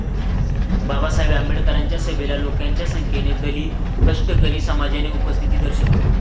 बाबासाहेब आंबेडकरांच्या सभेला लोकांच्या संख्येने दलित, कष्टकरी समजाने उपस्थिती दर्शविली.